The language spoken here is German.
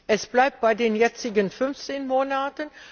Es bleibt bei den jetzigen 15 Monaten.